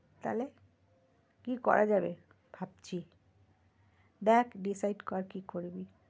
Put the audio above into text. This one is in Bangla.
তাহলে কি করা যাবে ভাবছি দেখ decide কর কি করবি?